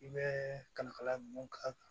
I bɛ kalifala mun k'a kan